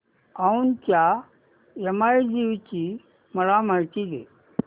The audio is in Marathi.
औंधच्या यमाई देवीची मला माहिती दे